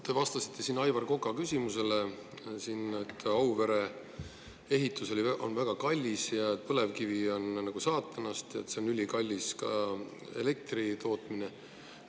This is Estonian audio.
Te vastasite Aivar Koka küsimusele, et Auvere ehitus on väga kallis, et põlevkivi on saatanast ja sellest elektri tootmine on ka ülikallis.